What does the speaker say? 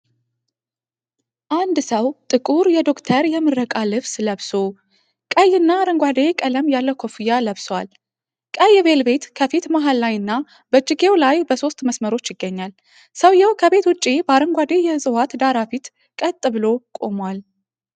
አንድ ሰው ጥቁር የዶክተር የምረቃ ልብስ ለብሶ፣ ቀይና አረንጓዴ ቀለም ያለው ኮፍያ ለብሶአል። ቀይ ቬልቬት ከፊት መሀል ላይና በእጅጌው ላይ በሶስት መስመሮች ይገኛል። ሰውዬው ከቤት ውጪ በአረንጓዴ የዕፅዋት ዳራ ፊት ቀጥ ብሎ ቆሟል።